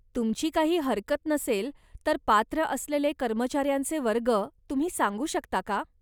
तुमची काही हरकत नसेल तर पात्र असेलेले कर्मचाऱ्यांचे वर्ग तुम्ही सांगू शकता का?